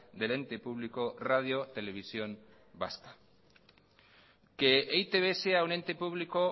del ente público radio televisión vasca que e i te be sea un ente público